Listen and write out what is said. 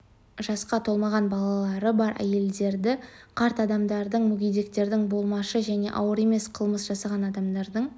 жасқа толмаған балалары бар әйелдерді қарт адамдарды мүгедектерді болмашы және ауыр емес қылмыс жасаған адамдар